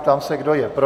Ptám se, kdo je pro.